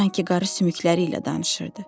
Sanki qarı sümükləri ilə danışırdı.